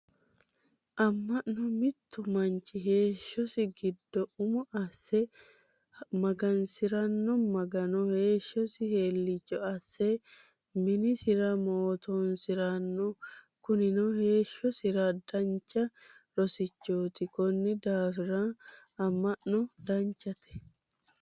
Ama'no mittu manchi heeshosi giddo umo asse mahgansirano magano heeshosi heeliicho asse minisira mootoonsirano kunino heeshoosira dancha rossichooti konnira daafira ama'no danchate